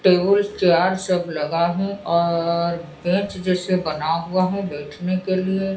Table chair सब लगा है और बेंच जैसे बना हुआ है बैठने के लिए।